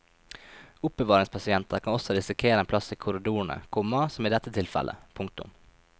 Oppbevaringspasienter kan også risikere en plass i korridorene, komma som i dette tilfellet. punktum